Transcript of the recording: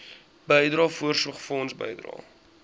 bydrae voorsorgfonds bydrae